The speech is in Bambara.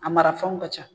A marafɛnw ka ca